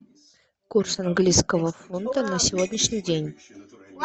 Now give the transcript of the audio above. курс английского фунта на сегодняшний день